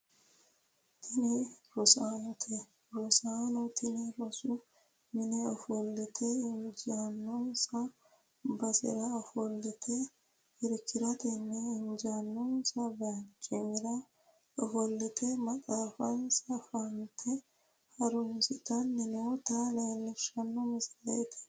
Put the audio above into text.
Tini rosaanote, rosaano tini rosu mine ofollate injiinonsa basera ofolte irkirateno injiinonsa barcimira ofolte maxaafansa fante harunsitanni noota leellishshano misileeti.